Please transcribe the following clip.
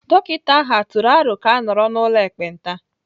Dọkịta ahụ tụrụ aro ka a nọrọ n'ụlọ ekpenta?